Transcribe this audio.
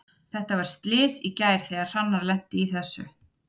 Þetta var slys í gær þegar Hrannar lenti í þessu.